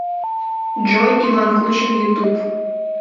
джой иван кучин ютуб